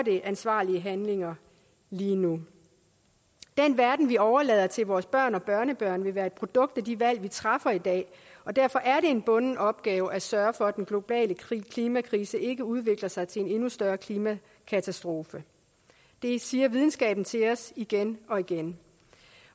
ansvarlige handlinger lige nu den verden vi overlader til vores børn og børnebørn vil være et produkt af de valg vi træffer i dag derfor er det en bunden opgave at sørge for at den globale klimakrise ikke udvikler sig til en endnu større klimakatastrofe det siger videnskaben til os igen og igen